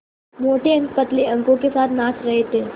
मोटे अंक पतले अंकों के साथ नाच रहे थे